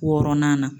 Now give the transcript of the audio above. Wɔɔrɔnan na